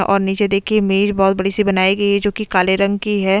और नीचे देखिए मेज बहुत बड़ी सी बनाई गई है जो कि काले रंग की है।